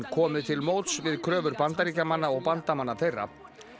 komið til móts við kröfur Bandaríkjamanna og bandamanna þeirra